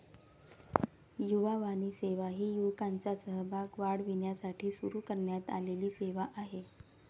युवावाणी सेवा ही युवकांचा सहभाग वाढविण्यासाठी सुरु करण्यात आलेली सेवा आहे.